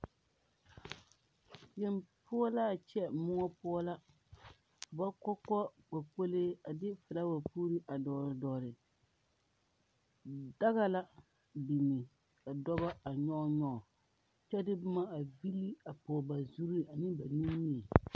Yeŋ poɔ la a kyɛ moɔ poɔ la ba kɔ kɔ kpokpolee a de filaawa puuro a dɔgle dɔgle daga la biŋ ka dɔba a nyɔge nyɔge kyɛ de boma a vili a pɔge ba zuri ne ba nimie.